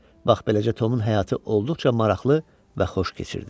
Bax beləcə Tomun həyatı olduqca maraqlı və xoş keçirdi.